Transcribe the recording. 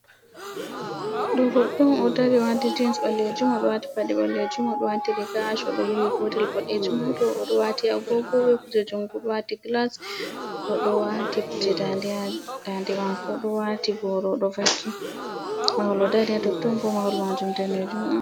Ɗo goɗɗo on oɗo dari wati jins balejum oɗo wati paɗe ɓalejum oɗo wati riga ash kolo yewi gotel bodejum oɗo wati agogo be kuje jumgu, oɗo wati glas o do wati kuje dande ha dande mako oɗo wati boro odo vakki mahol o dari ha Totton Bo mahol majum danejum.